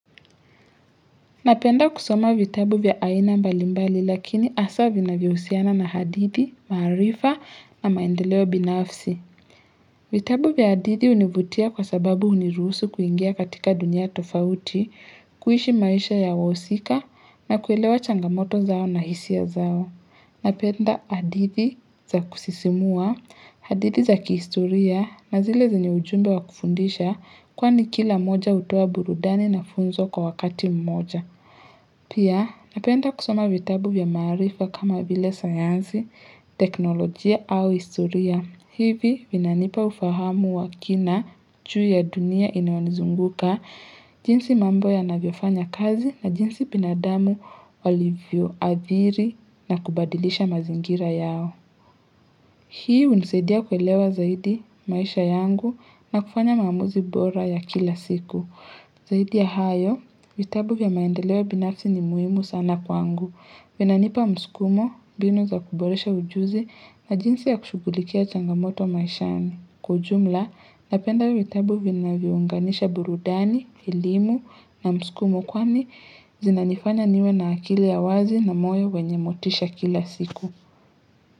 Napenda kusoma vitabu vya aina mbali mbali lakini hasa vinavyohusiana na hadithi, maarifa, na maendeleo binafsi. Vitabu vya hadithi hunivutia kwa sababu huniruhusu kuingia katika dunia tofauti, kuishi maisha ya wahusika na kuelewa changamoto zao na hisia zao. Napenda hadithi za kusisimua, hadithi za kihistoria, na zile zenye ujumbe wa kufundisha kwani kila moja hutoa burudani na funzo kwa wakati mmoja. Pia, napenda kusoma vitabu vya maarifa kama vile sayansi, teknolojia au historia. Hivi, vinanipa ufahamu wa kina, juu ya dunia inayonizunguka, jinsi mambo yanavyofanya kazi na jinsi binadamu walivyoathiri na kubadilisha mazingira yao. Hii, hunisaidia kuelewa zaidi maisha yangu, na kufanya maamuzi bora ya kila siku. Zaidi ya hayo, vitabu vya maendeleo binafsi ni muhimu sana kwangu. Vinanipa msukumo, mbinu za kuboresha ujuzi na jinsi ya kushugulikia changamoto maishani. Kwa jumla, napenda vitabu vinavyounganisha burudani, elimu na msukumo kwani zinanifanya niwe na akili ya wazi na moyo wenye motisha kila siku.